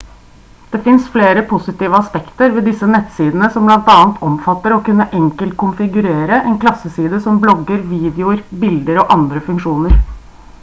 det finnes flere positive aspekter ved disse nettsidene som bl.a. omfatter å kunne enkelt konfigurere en klasseside som blogger videoer bilder og andre funksjoner